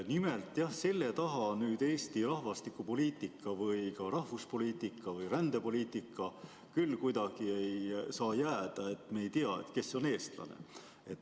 Nimelt, jah, selle taha Eesti rahvastikupoliitika või ka rahvuspoliitika või rändepoliitika küll kuidagi ei saa jääda, et me ei tea, kes on eestlane.